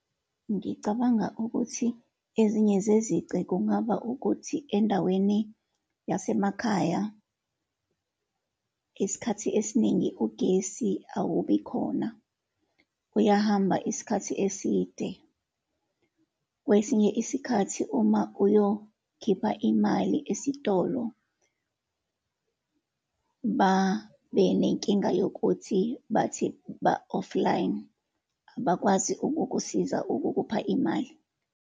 Ngicabanga ukuthi ezinye zezici kungaba ukuthi endaweni yasemakhaya isikhathi esiningi ugesi awubi khona, uyahamba isikhathi eside. Kwesinye isikhathi uma uyokhipha imali esitolo, babenenkinga yokuthi bathi ba-offline, abakwazi ukukusiza ukukupha imali.